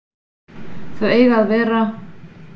Þau eiga að vera